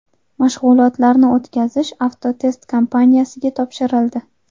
Mashg‘ulotlarni o‘tkazish Avtotest kompaniyasiga topshirildi.